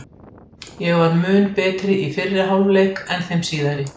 Í sjálfsvald sett